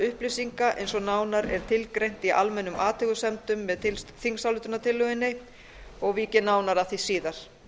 upplýsinga eins og nánar er tilgreint í almennum athugasemdum með þingsályktunartillögunni og vík ég nánar að því síðar